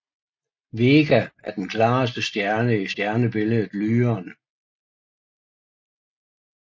Vega er den klareste stjerne i stjernebilledet Lyren